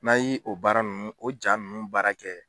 N'a y'i o baara nunnu o ja nunnu baara kɛ